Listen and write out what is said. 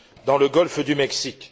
dans le golfe du Mexique.